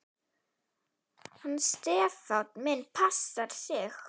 Hann Stefán minn passar sig.